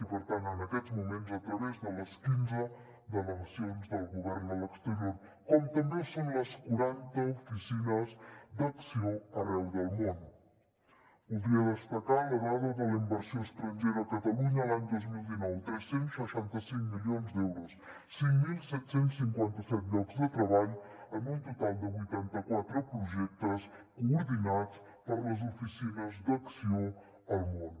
i per tant en aquests moments a través de les quinze delegacions del govern a l’exterior com també ho són les quaranta oficines d’acció arreu del món voldria destacar la dada de la inversió estrangera a catalunya l’any dos mil dinou tres cents i seixanta cinc milions d’euros cinc mil set cents i cinquanta set llocs de treball en un total de vuitanta quatre projectes coordinats per les oficines d’acció al món